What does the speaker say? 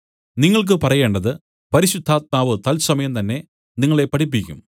നിങ്ങൾക്ക് പറയേണ്ടതു പരിശുദ്ധാത്മാവ് തൽസമയം തന്നേ നിങ്ങളെ പഠിപ്പിക്കും